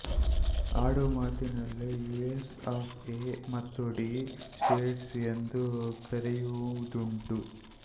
ಆಡುಮಾತಿನಲ್ಲಿ US of A ಮತ್ತು the States ಎಂದೂ ಕರೆಯುವುದುಂಟು